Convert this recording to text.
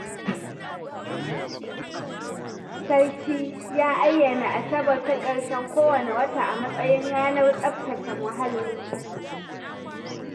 Sarki ya ayyana Asabar ta ƙarshen kowane wata a matsayin ranar tsaftace muhalli.